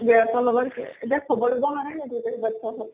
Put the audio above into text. গিৰীয়েকৰ লগত আছে, এতিয়া খবৰ বাদ্চাহ হত।